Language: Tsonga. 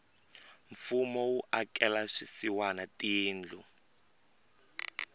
mfumo wu akela swisiwana tindlu